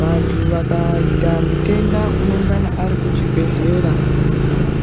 Vantu vakaita mutenda uno ngana ari ku chibhedhlera